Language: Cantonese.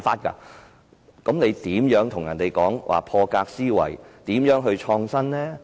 這樣如何談得上破格思維，又如何創新呢？